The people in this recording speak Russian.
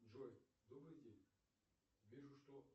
джой добрый день вижу что